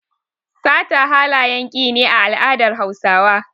Sata halayen ki ne a al'adar Hausawa.